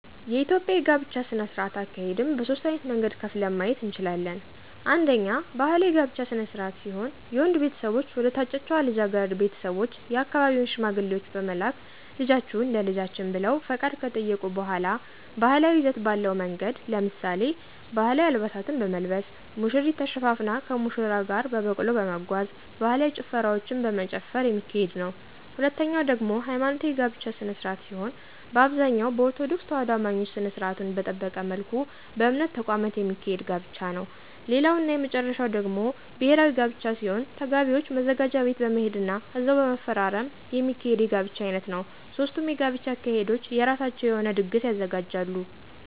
የኢትዮጵያ የጋብቻ ስነ-ስርዓት አካሄድን በሦስት ዓይነት መንገድ ከፍለን ማየት እንችላለን። አንደኛ ባህላዊ የጋብቻ ስነ-ስርዓት ሲሆን የወንዱ ቤተሰቦች ወደ ታጨችዋ ልጃገረድ ቤተሰቦች የአካባቢውን ሽማግሌዎች በመላክ ልጃችሁን ለልጃችን ብለው ፈቃድ ከጠየቁ በሗላ ባህላዊ ይዘት ባለው መንገድ ለምሳሌ፦ ባህላዊ አልባሳትን በመልበስ፣ ሙሽሪት ተሸፋፍና ከሙሽራው ጋር በበቅሎ በመጓጓዝ፣ ባህላዊ ጭፈራዎችን በመጨፈር የሚካሄድ ነዉ። ሁለተኛው ደግሞ ሀይማኖታዊ የጋብቻ ስነ-ስርዓት ሲሆን በአብዛኛው በኦርቶዶክስ ተዋህዶ አማኞች ስነ-ስርዓቱን በጠበቀ መልኩ በእምነት ተቋማት የሚካሄድ ጋብቻ ነዉ። ሌላው እና የመጨረሻው ደግሞ ብሔራዊ ጋብቻ ሲሆን ተጋቢዎች ማዘጋጃ ቤት በመሄድ ና እዛው በመፈራረም የሚካሄድ የጋብቻ ዓይነት ነዉ። ሦስቱም የጋብቻ አካሄዶች የራሳቸው የሆነ ድግስ ያዘጋጃሉ።